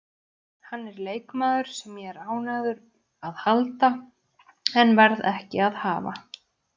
Hann er leikmaður sem ég er ánægður að halda en verð ekki að hafa.